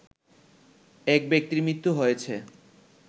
এক ব্যক্তির মৃত্যু হয়েছে